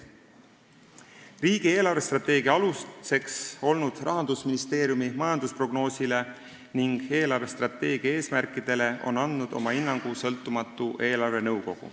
Riigi eelarvestrateegia aluseks olnud Rahandusministeeriumi majandusprognoosile ning eelarvestrateegia eesmärkidele on andnud oma hinnangu sõltumatu eelarvenõukogu.